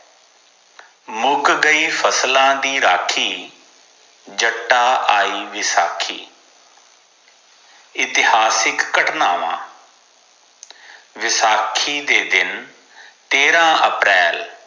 ਮੁਕ ਗਈ ਫਸਲਾਂ ਦੀ ਰਾਖੀ ਜੱਟਾ ਆਈ ਵਿਸਾਖੀ ਇਤਿਹਾਸਿਕ ਘਟਨਾਵਾਂ ਵਿਸਾਖੀ ਦੇ ਦਿਨ ਤੇਰਾ ਅਪ੍ਰੈਲ